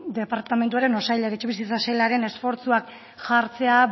departamentuaren edo etxebizitza sailaren esfortzuak jartzea